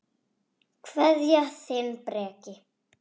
Kveðja, þinn Breki.